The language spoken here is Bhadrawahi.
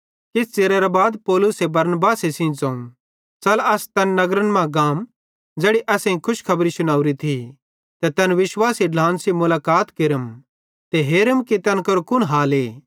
किछ च़िरेरां बाद पौलुसे बरनबास सेइं ज़ोवं च़ल असां तैन सारे नगरन मां गाम ज़ैड़ी असेईं खुशखबरी शुनावरी थी ते तैन विश्वासी ढ्लान सेइं मुलाकात केरम ते हेरम कि तैन केरो कुन हाले